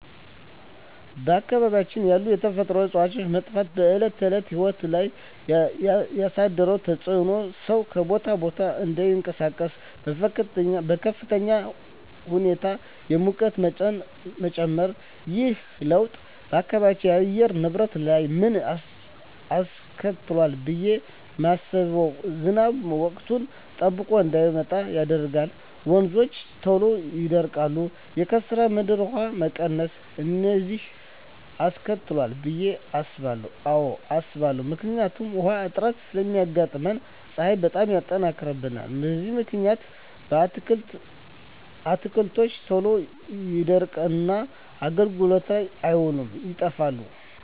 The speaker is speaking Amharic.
በአካባቢያችን ያሉ የተፈጥሮ እፅዋት መጥፋት በዕለት ተዕለት ሕይወት ላይ ያሣደረው ተፅኖ ሠው ከቦታ ቦታ እዳይንቀሣቀስ፤ በከፍተኛ ሁኔታ የሙቀት መጨመር። ይህ ለውጥ በአካባቢው የአየር ንብረት ላይ ምን አስከትሏል ብየ ማስበው። ዝናብ ወቅቱን ጠብቆ እዳይመጣ ያደርጋል፤ ወንዞች ቶሎ ይደርቃሉ፤ የከርሠ ምድር ውሀ መቀነስ፤ እነዚን አስከትሏል ብየ አስባለሁ። አዎ አስባለሁ። ምክንያቱም ውሀ እጥረት ስለሚያጋጥም፤ ፀሀይ በጣም ይጠነክራል። በዚህ ምክንያት አትክልቶች ቶሎ ይደርቁና አገልግሎት ላይ አይውሉም ይጠፋሉ።